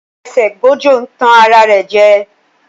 A fàṣẹ gbòjò ń tàn ara rẹ jẹ